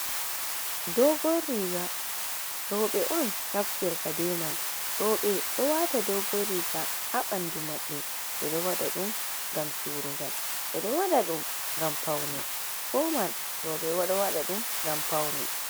Doogon riiga, rooɓ e on naftirta be man, ɗo waata dogoriga haa ɓanndu maɓɓe, ɓe ɗo waɗa ɗum ngam suurungal, ɓe ɗo waɗa ɗum ngam pawne fuuman rooɓe ɗo waɗa ɗum ngam pawne.